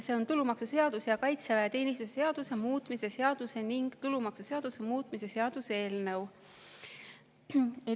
See on tulumaksuseaduse ja kaitseväeteenistuse seaduse muutmise seaduse ning tulumaksuseaduse muutmise seaduse eelnõu.